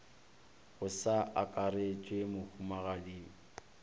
go sa akarešwe mohumagadi bhe